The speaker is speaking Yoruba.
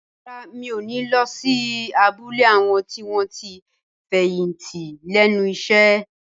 Rárá, mi ò ní lọ sí abúlé àwọn tí wọ́n ti fẹ̀yìntì lẹ́nu iṣẹ́